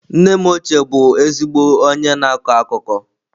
Nne m ochie bụ ezigbo onye na-akọ akụkọ.